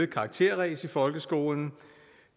karakterræs i folkeskolen